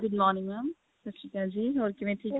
good morning mam ਸਤਿ ਸ਼੍ਰੀ ਅਕਾਲ ਜੀ ਹੋਰ ਕਿਵੇਂ ਠੀਕ